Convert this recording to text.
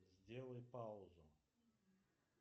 сделай паузу